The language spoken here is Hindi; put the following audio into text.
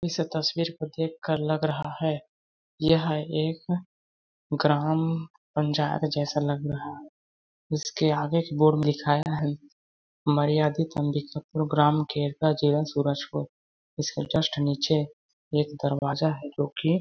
इस तस्वीर को देखकर लग रहा है यह एक ग्राम पंचायत जैसा लग रहा है जिसके आगे बोर्ड में लिखाया है मर्यादित अंबिकापुर ग्राम खेरका जिला सूरजपुर उसके जस्ट नीचे एक दरवाजा है जोकि--